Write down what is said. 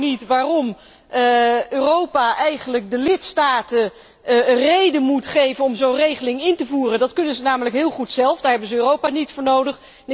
Ik snap ook niet waarom Europa eigenlijk de lidstaten reden moet geven om zo'n regeling in te voeren, dat kunnen zij namelijk heel goed zelf en daar hebben zij Europa niet voor nodig.